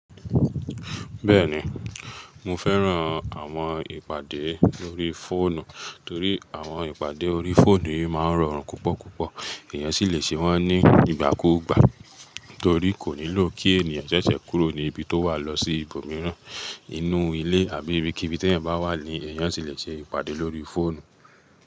Bẹ́ẹ̀ni, mo fẹ́ran àwọn ìpàdé lórí fóònù, torí àwọn ìpàdé lórí fóònù máa ń rọrùn púpọ̀púpọ̀. Ẹ̀yàn sì lè ṣe wọ́n nígbàkúgbà, torí kò nílò kí ènìyàn ṣẹ̀ṣẹ̀ kúrò ní ibi tó wà lọ sí ibòmíràn. Inú ilé àbí ibikíbi tí ẹ̀yàn bá wà ni ẹ̀yàn sì lè ṣe ìpàdé lórí fóònù.